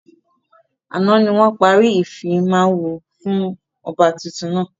Àná ni wọn parí ìfimawo fún ọba tuntun náà.